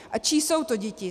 A čí jsou to děti?